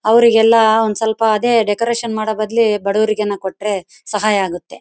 ಅವರಿಗೆಲ್ಲ ಒಂದ್ ಸ್ವಲ್ಪ ಅದೇ ಡೆಕುರೇಷನ್ ಮಾಡೋಬದಲು ಬಡವರಿಗೆ ಏನಾರು ಕೊಟ್ರೆ ಸಹಾಯ ಆಗುತ್ತೆ.